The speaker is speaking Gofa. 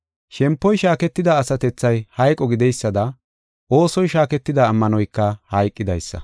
Shempoy shaaketida asatethay hayqo gideysada, oosoy shaaketida ammanoyka hayqidaysa.